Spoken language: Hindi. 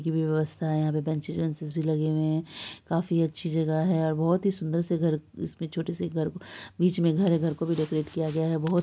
की व्यवस्था है यहा पे बेन्चिस वेंचिस भी लग हुवे है काफी अच्छी जगह है और बहुत ही सुन्दर से बिच में घर को प्रोटेक्टर किया गया है ।